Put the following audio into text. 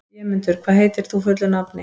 Vémundur, hvað heitir þú fullu nafni?